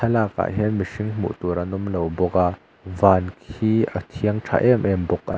thalakah hian mihring hmuh tur an awm lo bawk a van hi a thiang tha em em bawk--